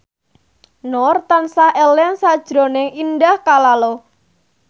Nur tansah eling sakjroning Indah Kalalo